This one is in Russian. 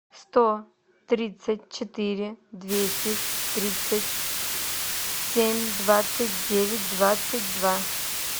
сто тридцать четыре двести тридцать семь двадцать девять двадцать два